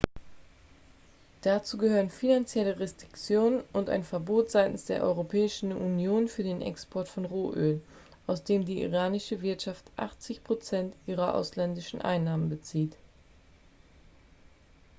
dazu gehören finanzielle restriktionen und ein verbot seitens der europäischen union für den export von rohöl aus dem die iranische wirtschaft 80 % ihrer ausländischen einnahmen bezieht.x